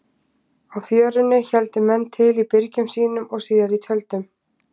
Á Fjörunni héldu menn til í byrgjum sínum og síðar í tjöldum.